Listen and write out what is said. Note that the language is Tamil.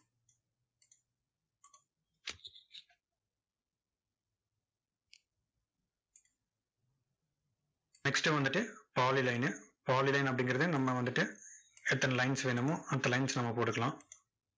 next வந்துட்டு polylinepolyline அப்படிங்கறது, நம்ம வந்துட்டு, எத்தனை lines வேணுமோ, அத்தனை lines நம்ம போட்டுக்கலாம்.